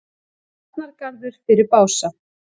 Varnargarður fyrir Bása